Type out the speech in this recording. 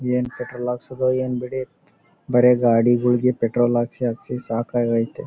ಏನ್ ಪೆಟ್ರೋಲ್ ಹಾಕ್ಸೋದು ಏನ್ ಬಿಡಿ ಬರೆ ಗಾಡಿಗಳಿಗೆ ಪೆಟ್ರೋಲ್ ಹಾಕ್ಸಿ ಹಾಕ್ಸಿ ಸಾಕಾಗೈತಿ .